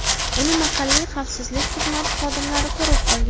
Uni mahalliy xavfsizlik xizmati xodimlari ko‘rib qolgan.